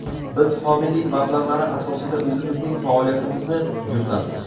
Biz homiylik mablag‘lari asosida o‘zimizning faoliyatimizni yuritamiz.